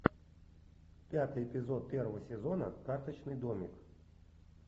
пятый эпизод первого сезона карточный домик